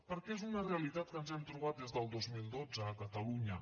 perquè és una realitat que ens hem trobat des del dos mil dotze a catalunya